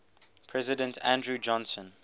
president andrew johnson